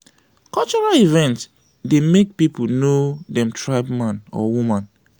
cultural event dey make people know dem tribe man or woman.